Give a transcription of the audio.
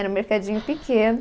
Era um mercadinho pequeno.